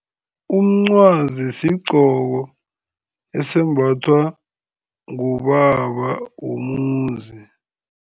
Umncwazi sigqoko esembathwa ngubaba womuzi.